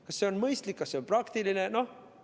Kas see on mõistlik, kas see on praktiline?